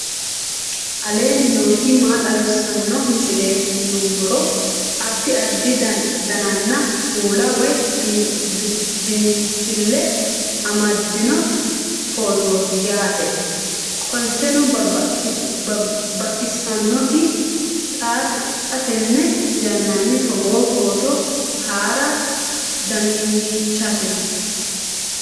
aleenni nooti maa xawisanno misileeti yinummoro addi addi dananna kuula woy biinsille amaddino footooti yaate qoltenno baxissannote xa tenne yannanni togoo footo haara danvchate